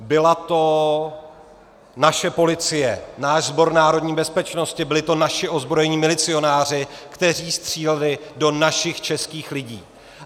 Byla to naše policie, náš Sbor národní bezpečnosti, byli to naši ozbrojení milicionáři, kteří stříleli do našich, českých lidí.